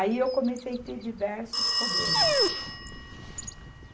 Aí eu comecei a ter diversos problemas.